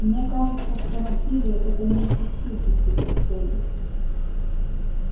мне кажется что насилие это неэффективный путь к цели